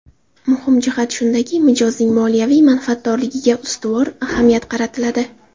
Muhim jihati shundaki, mijozning moliyaviy manfaatdorligiga ustuvor ahamiyat qaratiladi.